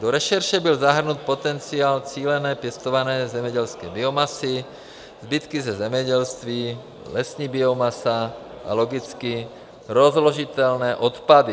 Do rešerše byl zahrnut potenciál cíleně pěstované zemědělské biomasy, zbytky ze zemědělství, lesní biomasa a biologicky rozložitelné odpady.